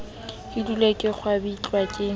ke dule ke kgwabitlwa ke